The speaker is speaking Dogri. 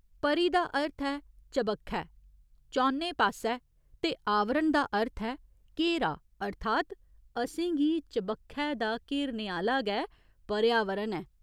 परि' दा अर्थ ऐ चबक्खै, चौनें पास्सै ते 'आवरण' दा अर्थ ऐ घेरा अर्थात् असें गी चबक्खै दा घेरने आह्‌ला गै पर्यावरण ऐ।